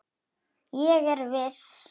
Ég er viss.